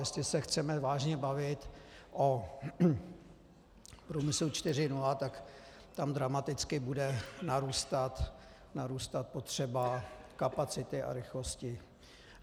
Jestli se chceme vážně bavit o průmyslu 4.0, tak tam dramaticky bude narůstat potřeba kapacity a rychlosti.